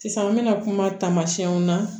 Sisan an bɛna kuma taamasiyɛnw na